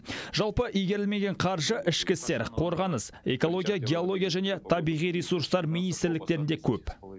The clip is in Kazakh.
жалпы игерілмеген қаржы ішкі істер қорғаныс экология геология және табиғи ресурстар министрліктерінде көп